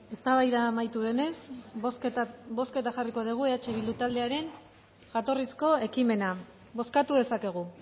eztabaida amaitu denez bozketan jarriko dugu eh bildu taldearen jatorrizko ekimena bozkatu dezakegu